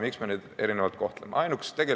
Miks me neid erinevalt kohtleme?